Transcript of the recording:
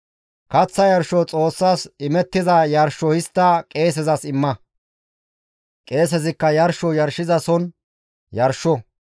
Kaththa Yarsho Xoossas imettiza yarsho histta qeesezas imma; qeesezikka yarsho yarshizason yarsho.